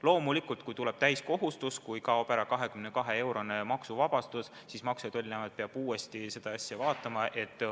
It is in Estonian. Loomulikult, kui tuleb täielik maksmise kohustus, kui kaob ära maksuvabastus kuni 22-eurose kauba puhul, siis Maksu- ja Tolliamet peab uuesti seda asja vaatama.